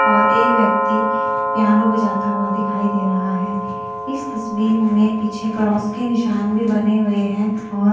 और एक व्यक्ती पियानो बजाता हुआ दिखाई दे रहा है इस तस्वीर में पीछे क्रॉस के निशान भी बने हुए हैं और --